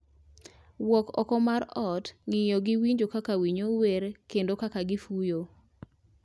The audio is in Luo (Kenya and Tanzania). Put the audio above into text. Wuok oko mar ot, ng'iyo gi winjo kaka winyo wer kendo kaka gifuyo